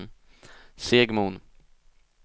Segmon